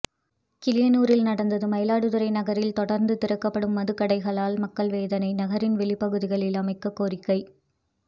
கிளியனூரில் நடந்தது மயிலாடுதுறை நகரில் தொடர்ந்து திறக்கப்படும் மதுக்கடைகளால் மக்கள் வேதனை நகரின் ெவளிப்பகுதியில் அமைக்க கோரிக்கை